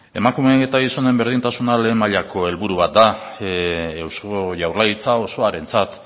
emakumeen eta gizonen berdintasuna lehen mailako helburu bat da eusko jaurlaritza osoarentzat